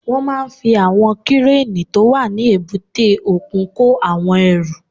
Wọ́n máa fi àwọn kírénì tó wà ní èbúté òkun kó àwọn ẹrù